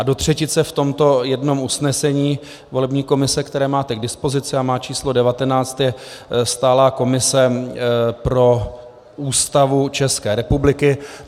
A do třetice v tomto jednom usnesení volební komise, které máte k dispozici a má číslo 19, je stálá komise pro Ústavu České republiky.